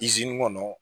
kɔnɔ